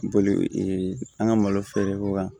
Boli an ka malo feere ko kan